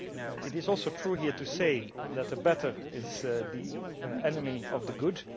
It is also true here to say that the better is the enemy of the good.